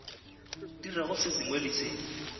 dirago se sengwe le se